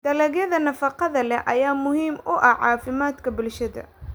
Dalagyada nafaqada leh ayaa muhiim u ah caafimaadka bulshada.